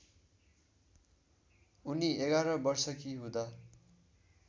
उनी ११ वर्षकी हुँदा